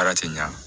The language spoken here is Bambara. Ala tɛ ɲa